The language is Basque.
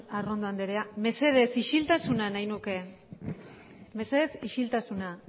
arrondo andrea mesedez isiltasuna nahi nuke mesedez isiltasuna